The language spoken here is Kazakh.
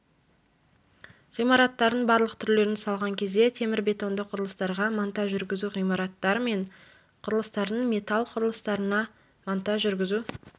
ғимараттардың барлық түрлерін салған кезде темір-бетонды құрылыстарға монтаж жүргізу ғимараттар мен құрылыстардың металл құрылыстарына монтаж жүргізу